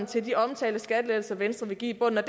til de omtalte skattelettelser venstre vil give i bunden og